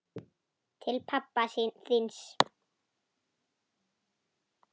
Til pabba þíns.